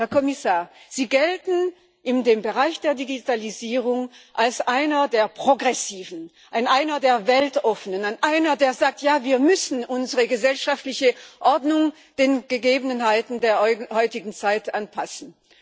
Herr Kommissar, Sie gelten in dem Bereich der Digitalisierung als einer der Progressiven, als einer der Weltoffenen, als einer, der sagt Ja, wir müssen unsere gesellschaftliche Ordnung den Gegebenheiten der heutigen Zeit anpassen.